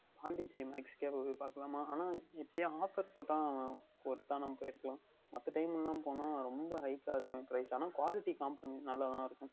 Pondicherry Max யில் நாம் சென்று பார்க்கலாமா எப்படியே Offer போட்டால் Worth தாக நாம் எடுத்துக்கொள்ளலாம் மத்த Time யில் சென்றால் ரொம்ப Hike காக இருக்கும் Price ஆனால் Quality நன்றாக தான் இருக்கும்